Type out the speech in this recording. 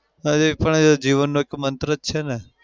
હા એ પણ એ જીવનનો એક મંત્ર જ છે ને?